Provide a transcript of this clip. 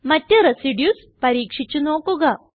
മറ്റ് റെസിഡ്യൂസ് പരീക്ഷിച്ച് നോക്കുക